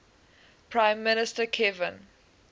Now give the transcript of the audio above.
prime minister kevin